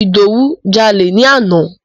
Ìdòwú jalè ni àná.